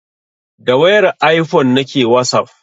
Da wayar ifone nake wasaf